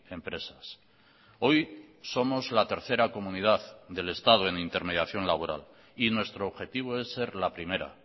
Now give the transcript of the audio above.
empresas hoy somos la tercera comunidad del estado en intermediación laboral y nuestro objetivo es ser la primera